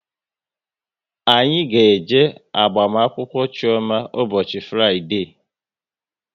Anyị ga-eje agbamakwụkwọ Chioma ụbọchị Fraịdee